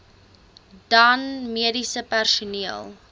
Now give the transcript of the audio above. dan mediese personeel